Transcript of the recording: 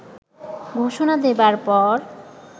ঘোষণা দেবার পর